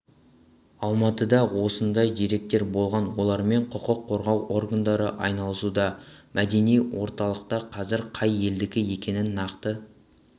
алматыда осындай деректер болған олармен құқық қорғау органдары айналысуда мәдени орталықта қазір қай елдікі екенін нақты